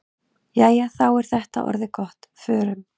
Jæja, þá er þetta orðið gott. Förum.